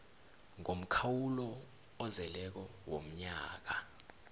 ngomkhawulo ozeleko womnyaka